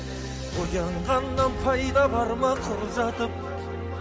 оянғаннан пайда бар ма құр жатып